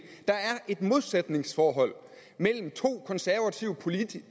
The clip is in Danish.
der er et modsætningsforhold mellem to konservative politikker